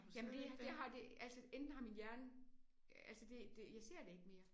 Jamen det det har det altså enten har min hjerne altså det det jeg ser det ikke mere